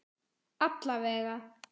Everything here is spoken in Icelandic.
Alla vega.